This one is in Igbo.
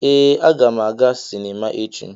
Ee, aga m aga sinima echi.